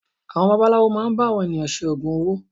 Àwọn babaláwo máà ń bá àwọn ènìyàn ṣe ògùn owó.